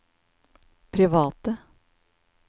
private